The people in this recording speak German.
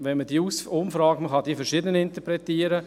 Man kann diese Umfrage verschieden interpretieren.